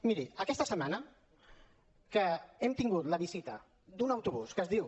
miri aquesta setmana que hem tingut la visita d’un autobús que es diu